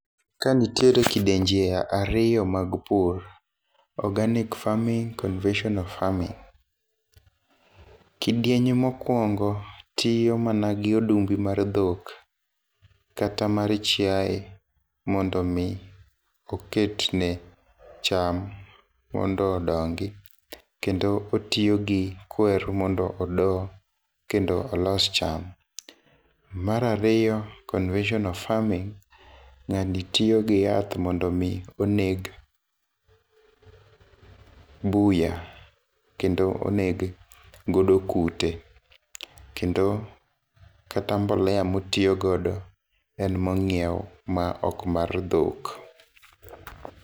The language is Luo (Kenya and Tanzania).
Ka nitiere kidienje ariyo mag pur organic farming ,conventional farming. kidieny mokwongo tiyo mana gi odumbi mar dhok kata mar chiaye mondo mi oket ne cham mondo odongi , kendo otiyo gi kwer mondo odoo kendo olos cham. Mar ariyo conventional farming jali tiyo gi yath mondo mi oneg buya kendo oneg godo kute kendo kata mbolea motiyo godo en mong'iew ma ok mar dhok.